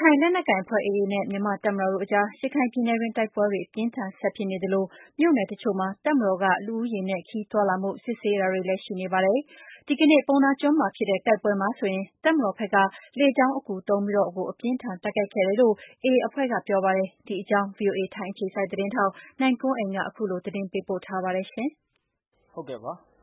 ခိုင်လက်နက်ကိုင်အဖွဲ့ AA နဲ့ မြန်မာ့တပ်မတော်တို့အကြား ရခိုင်ပြည်နယ်တွင်း တိုက်ပွဲတွေ အပြင်းအထန် ဆက်ဖြစ်နေသလို မြို့နယ်တချို့မှာ တပ်မတော်က လူဦးရေနဲ့ ခရီးသွားလာမှု စစ်ဆေးတာတွေလည်း ရှိနေပါတယ်။ ဒီကနေ့ ပုဏ္ဏားကျွန်းမှာဖြစ်တဲ့ တိုက်ပွဲမှာဆိုရင် တပ်မတော်ဘက်က လေကြောင်းအကူသုံးပြီးတော့ကို အပြင်းအထန် တိုက်ခိုက်ခဲ့တယ်လို့ AA အဖွဲ့က ပြောပါတယ်။ ဒီအကြောင်း ဗွီအိုအေ ထိုင်းအခြေစိုက်သတင်းထောက် နိုင်ကွန်းအိမ်က သတင်းပေးပို့ထားပါတယ်။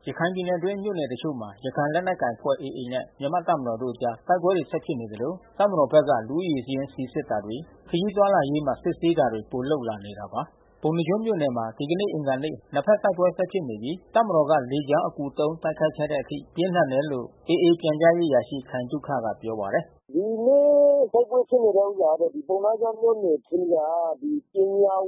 ရခိုင်ပြည်နယ်အတွင်းမြို့နယ်တချို့မှာ ရခိုင်လက်နက်ကိုင်အဖွဲ့ AA နဲ့ မြန်မာ့တပ်မတော်တို့အကြား တိုက်ပွဲတွေ ဆက်ဖြစ်နေသလို တပ်မတော်ဘက်က လူဦးရေစာရင်းစီစစ်တာတွေ၊ ခရီးသွားလာရေးမှာ စစ်ဆေးတာတွေကို ပိုလုပ်လာနေ တာပါ။ ပုဏ္ဏားကျွန်းမြို့နယ်မှာ ဒီကနေ့ အင်္ဂါနေ့ နှစ်ဖက်တိုက်ပွဲဆက်ဖြစ်နေပြီး တပ်မတော်က လေကြောင်းအကူသုံး တိုက်ခိုက်ခဲ့တဲ့အထိ ပြင်းထန်တယ်လို့ AA ပြန်ကြားရေးအရာရှိ ခိုင်သုခကပြောပါတယ်။ “ဒီနေ့တိုက်ပွဲဖြစ်နေတဲ့ဥစ္စာကတော့ ပုဏ္ဏားကျွန်းမြို့နယ်ထဲက ပညာ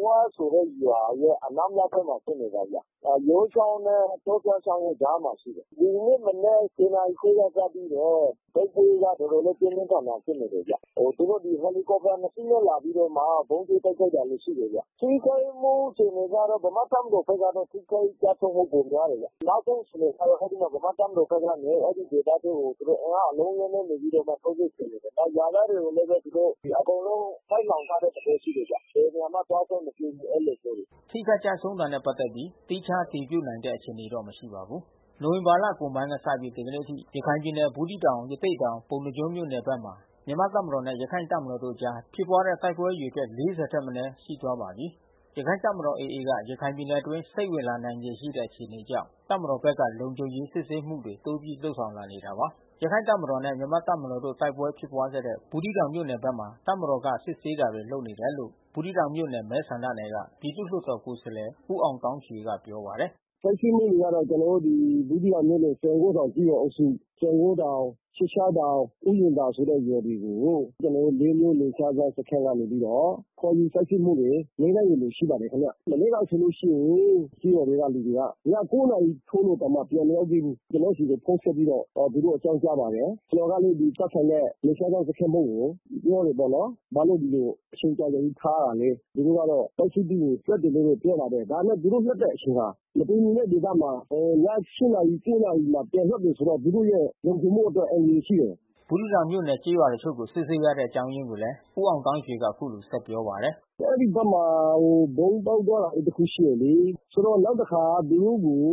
ဝဆိုတဲ့ရွာရဲ့ အနောက်မြောက်ဖက်မှာ ဖြစ်နေတယ်ဗျ။ ယိုးချောင်းနဲ့တောဖျားချောင်းကြားမှာရှိတယ်။ ဒီနေ့မနက် နာရီခွဲကစပြီးတော့ တိုက်ပွဲကတော်တော်လေး ပြင်းပြင်းထန်ထန် ဖြစ်နေတယ်ဗျ။ သူတို့ဟယ်လီကော်ပတာနှစ်စီးနဲ့လာပြီးတော့မှ ဗုံးကြဲတိုက်ခိုက်တာတွေရှိတယ်ဗျ။ ထိခိုက်မှုအခြေအနေ ကတော့ ဗမာ့တပ်မတော်ဘက်က ထိခိုက်ကျဆုံးမှုပိုများတယ်ဗျ။ နောက်ဆုံးအခြေအနေကတော့ ဗမာ့တပ်မတော်ဘက်ကနေ အဲဒီဒေသထဲကို သူတို့အင်အားအလုံးအရင်းနဲ့နေပြီးတော့မှ ထိုးစစ်ဆင်နေတယ်။ ရွာသားတွေကိုလည်း သူတို့ အကုန်လုံး ပိတ်လှောင်ထားတဲ့သဘောရှိတယ်ဗျ။ ဘယ်နေရာမှ သွားခွင့်မပြုဘူး အဲဒီလိုမျိုး။” ထိခိုက်ကျဆုံးတာနဲ့ ပတ်သက်ပြီး သီးခြားအတည်ပြုနိုင်တဲ့ အခြေအနေတော့မရှိပါဘူး။ နိုဝင်ဘာလကုန်ပိုင်းကစပြီး ဒီကနေ့အထိ ရခိုင်ပြည်နယ် ဘူးသီးတောင် ရသေ့တောင် ပုဏ္ဏားကျွန်းမြို့နယ်ဘက်တွေမှာ မြန်မာ့တပ်မတော်နဲ့ရခိုင့်တပ်မတော်တို့အကြားဖြစ်တဲ့ တိုက်ပွဲအရေအတွက် ၄၀ ထက်မနည်း ရှိသွားပါပြီ။ ရခိုင်တပ်မတော် AA က ရခိုင်ပြည်နယ်အတွင်း စိမ့်ဝင်လာခြေရှိတဲ့ အခြေအနေကြောင့် တပ်မတော်ဘက်က လုံခြုံရေး စစ်ဆေးမှု တွေ တိုးပြီးလုပ်ဆောင်လာနေတာပါ။ ရခိုင်တပ်မတော်နဲ့မြန်မာ့တပ်မတော်တို့တိုက်ပွဲဖြစ်ပွါးခဲ့တဲ့ ဘူးသီးတောင်မြို့နယ်ဘက်မျာ တပ်မတော်က စစ်ဆေးတာတွေ လုပ်နေတယ်လို့ ဘူးသီးတောင်မြို့နယ်မဲဆန္ဒနယ်က ပြည်သူ့လွှတ်တော်ကိုယ်စားလှယ ် ဦးအောင်သောင်းရွှေကပြောပါတယ်။ “စစ်ဆေးမှုတွေကတော့ ကျွန်တော်တို့ဘူးသီးတောင်မြို့နယ် စံကိုးထောင်ကျေးရွာအုပ်စု စံကိုးထောင် သျှစ်သျှား တောင် ဥယာဉ်သာဆိုတဲ့ရွာတွေကို ကျွန်တော်တို့လေးမြို့နယ်ခြားစောင့်စခမ်းကနေပြီးတော့ ခေါ်ယူစစ်ဆေးမှုတွေ နေ့တိုင်းလိုလို ရှိနေပါတယ်ခင်ဗျ။ မနေ့ကဆိုလို့ရှိရင် ကျေးရွာတွေကလူတွေက ည နာရီထိုးတောင်မှ ပြန် မရောက်သေးဘူး။ ကျွန်တော်ဆီကိုဖုန်းဆက်ပြီးတော့အောကာင်းကြားပါတယ်။ ကျွန်တော်ကလဲသက်ဆိုင်တဲ့ နယ် ခြားစောင့်တပ်စခမ်းမှူးကို ပြောတာပေါ့နော်။ဘာလို့ဒီလိုအချိန်ကြာကြာကြီးထားရတာလဲ။ သူတို့ကစစ်ဆေးပြီးရင် လွှတ်တယ်လို့ပြောတာဘဲ။ ဒါပေမဲ့သူတို့လွှတ်တဲ့အချိန်ဟာ မတည်ငြိမ်တဲ့ဒေသမှာ ည နာရီ နာရီမှာပြန် လွှတ်တယ်ဆိုတော့ သူတို့ရဲ့လုံခြုံမှုအတွက်အန္တရာယ်ရှိတယ်။” ဘူးသီးတောင်မြို့နယ် ကျေးရွာတချို့ကို စစ်ဆေးရတဲ့ အကြောင်းရင်းကိုလည်း ဦးအောင်သောင်းရွှေက အခုလိုဆက်ပြောပါ တယ်။ “အဲဒီဘက်မှာ ဗုံးပေါက်သွားတာတခုရှိတယ်လေ။ ဆိုတော့နောက်တခါသူတို့ကို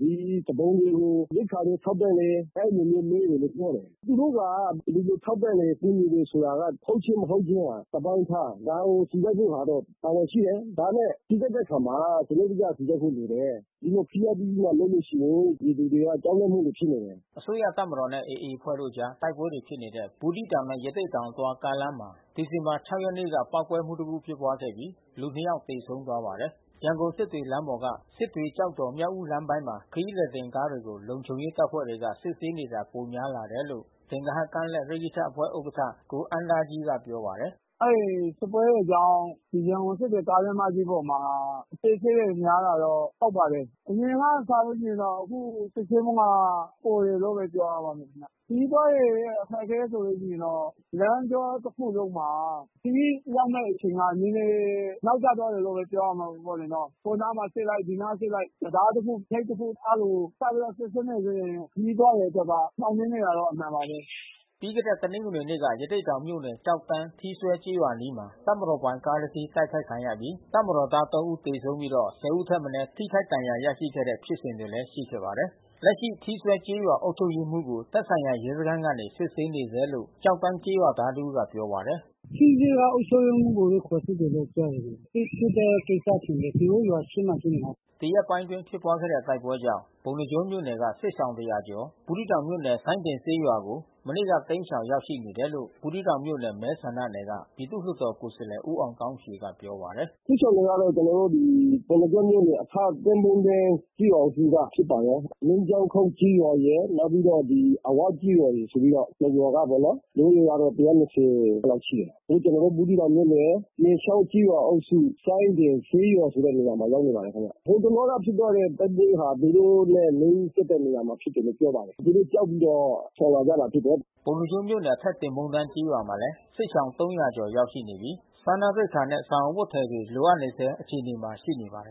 သူပုန်တွေကိုရိက္ခာတွေထောက်ပံ့တယ်။ အဲဒီလိုမျိုးမေးတယ်လို့ပြောတယ်။ သူတို့က ဒီလိုထောက်ပံ့တယ် ကူညီတယ်ဆိုတာက ဟုတ်ခြင်းမဟုတ်ခြင်းကတပိုင်းထား။ ဒါကိုစီစစ်ဖို့ကတော့တာဝန်ရှိတယ်။ ဒါပေမဲ့စီစစ်တဲ့အခါမှာ စံနစ်တကျစီစစ်ဖို့လိုတယ်။ ဒီလို ဖိအားပေးပြီးမှလုပ်လို့ရှိရင် ပြည်သူတွေကကြောက်လန့်မှုတွေဖြစ်နေတယ်။” အစိုးရတပ်မတော်နဲ့ AA အဖွဲ့အကြား တိုက်ပွဲတွေဖြစ်နေတဲ့ ဘူးသီးတောင်နဲ့ ရသေ့တောင်အသွား ကားလမ်းမှာ ဒီဇင်ဘာ ၆ ရက် နေ့က ပေါက်ကွဲမှုတစ်ခုဖြစ်ပွားခဲ့ပြီးလူ ၂ ယောက်သေဆုံးသွားခဲ့ပါတယ်။ ရန်ကုန်-စစ်တွေလမ်းပေါ်က စစ်တွေ-ကျောက်တော်-မြောက်ဦးလမ်းပိုင်းမှာ ခရီးသည်တင်ကားတွေကို လုံခြုံရေးတပ်ဖွဲ့ဝင်တွေ က စစ်ဆေးတာတွေ ပိုများလာနေတယ်လို့ သင်္ဂဟကမ်းလက် ရက္ခိတအဖွဲ့ဥက္ကဋ္ဌ ကိုအမ်းသားကြီးက ပြောပါတယ်။ “အဲဒီစစ်ပွဲတွေကြောင့် ရန်ကုန်စစ်တွေကားလမ်းမကြီးပေါ်မှာ အစစ်ဆေးတွေများတာတော့ဟုတ်ပါတယ်။ အရင်က စာရင်တော့ အခုစစ်ဆေးမှုက ပိုတယ်လို့ဘဲပြောရပါမယ်။ ခရီးသွားတွေရဲ့အခက်ခဲဆိုလို့ရှိရင်တော့ လမ်းကြောတခုလုံးမှာ ခရီးရောက်မယ့် အချိန်နဲ့နဲနဲနောက်ကျသွားမယ်လို့ဘဲပြောရမှာပေါ့လေ။ ဟိုနားမှာစစ်လိုက် ဒီနားမှာစစ် လိုက် တံတားတခုဂိတ်တခု အဲဒီလိုစောင့်ပြီးတော့စစ်ဆေးမှုလေးတွေ ခရီးသွားတွေအတွက်က နှောင့်နှေးနေတာ အမှန်ပါဘဲ။” ပြီးခဲ့တဲ့တနင်္ဂနွေနေ့က ရသေ့တောင်မြို့နယ် ကျောက်တန်း ထီးစွဲကျေးရွာအနီးမှာ တပ်မတော်ပိုင်ကားတစီး တိုက်ခိုက်ခံရပြီး တပ်မတော်သား ဦးသေဆုံးပြီး ဦးထက်မနဲထိခိုက်ဒဏ်ရာရရှိခဲ့တဲ့ဖြစ်စဉ်လဲရှိခဲ့ပါတယ်။ လက်ရှိထီးစွဲကျေးရွာအုပ်ချုပ်ရေးမှူးကို သက်ဆိုင်ရာရဲစခမ်းကနေစစ်ဆေးနေဆဲလို့ ကျောက်တန်းကျေးရွာသား တဦးကပြောပါတယ်။ “ထီးစွဲကျေးရွာအုပ်ချုပ်ရေးမှူးကိုခေါ်စစ်တယ်လို့ပြောတယ်။ စစ်ဖြစ်တဲ့ကိစ္စထင်တယ်။ သူတို့ရွာအရှေ့မှာဖြစ်နေတာ။” ဒီရက်ပိုင်းအတွင်းဖြစ်ပွါးတဲ့တိုက်ပွဲကြောင့် ပုဏ္ဏားကျွန်းမြို့နယ်က စစ်ရှောင်တရာကျော် ဘူးသီးတောင်မြို့နယ် စိုင်ဒင်ဈေးရွာကို မနေ့ကတိမ်းရှောင်ရောက်ရှိနေတယ်လို့ ဘူးသီးတောင်မြို့နယ်မဲဆန္ဒနယ်က ပြည်သူ့လွှတ် တော်ကိုယ်စားလှယ်ဦးအောင်သောင်းရွှေကပြောပါတယ်။ “စစ်ရှောင်တွေကတော့ ကျွန်တော်တို့ဒီ ပုဏ္ဏားကျွန်းမြို့နယ်အထက်သင်ပုန်းတန်း ကျေးရွာအုပ်စုကဖြစ်ပါတယ်။ မီးကျောင်းခုတ်ကျေးရွာရယ် နောက်ပြီးတော့အဝကျေးရွာရယ်ဆိုပြီးတော့နှစ်ရွာကပေါ့နော်။ လူဦးရေက လောက်ရှိတယ်။ အခုကျွန်တော်တို့ဘူးသီးတောင်မြို့နယ် ပြင်ချောင်းကျေးရွာအုပ်စု စိုင်းပြင်ဈေးရွာမှာရောက် နေပါတယ်ခင်ဗျ။ ဟိုတလောကဖြစ်တဲ့တိုက်ပွဲဟာသူတို့နဲ့နီးစပ်တယ်လို့ပြောပါတယ်။ သူတို့ကြောက်ပြီး တော့ရှောင်လာကြတာဖြစ်တယ်။ ပုဏ္ဏားကျွန်းမြို့နယ်အထက်သင်ပုန်းတန်းကျေးရွာမှာလဲ စစ်ရှောင် ကျော်ရောက်ရှိနေပြီး စားနပ်ရိက္ခာနဲ့ စောင်အဝတ်အထည်တွေလိုအပ်နေဆဲအခြေအနေမှာရှိနေပါတယ်